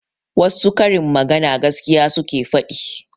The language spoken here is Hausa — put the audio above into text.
Wassu karin magana gaskiya suke faɗi